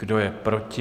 Kdo je proti?